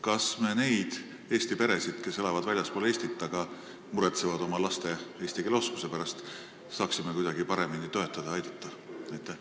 Kas me neid eesti peresid, kes elavad väljaspool Eestit, aga muretsevad oma laste eesti keele oskuse pärast, saaksime kuidagi paremini toetada ja aidata?